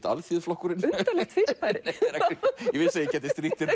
Alþýðuflokkurinn undarlegt fyrirbæri ég vissi að ég gæti strítt þér